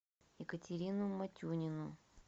екатерину матюнину